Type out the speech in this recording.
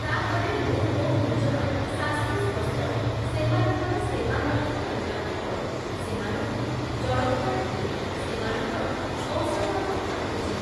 ତା'ପରେ ମୁଁ ମୋ' ନିଜର ଶାଶୁ ଶ୍ଵଶୁର ସେମାନଙ୍କର ସେବା ମଧ୍ୟ କରିବାକୁ ପଡ଼େ ସେମାନଙ୍କୁ ଜଳଖିଆ ଦିଏ, ସେମାନଙ୍କର ଔଷଧପତ୍ର ବୁଝେ ।